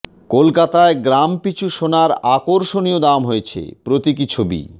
কলকাতায় গ্রাম পিছু সোনার আকর্ষণীয় দাম হয়েছে প্রতীকী ছবি